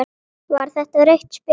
Var þetta rautt spjald?